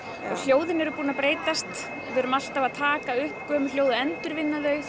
hljóðin eru búin að breytast við erum alltaf að taka upp gömul hljóð og endurvinna þau